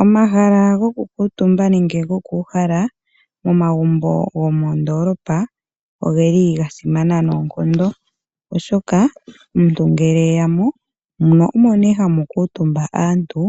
Omahala goku kuutumba nenge goku uhala momagumbo gomoondolopa ogeli gasimana noonkondo oshoka omuntu ngele eya mo, mo omo nee hamu kuutumba aantu